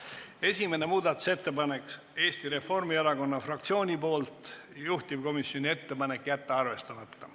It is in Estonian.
Esimene muudatusettepanek on Eesti Reformierakonna fraktsioonilt, juhtivkomisjoni ettepanek on jätta arvestamata.